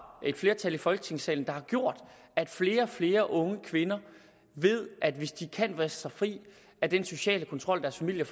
et flertal i folketingssalen har gjort at flere og flere unge kvinder ved at hvis de kan vriste sig fri af den sociale kontrol deres familier